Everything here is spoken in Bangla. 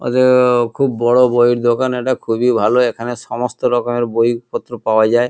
ওদের-ও খুব বড়ো বইয়ের দোকান এটা খুবই ভালো এখানে সমস্ত রকমের বইপত্র পাওয়া যায়।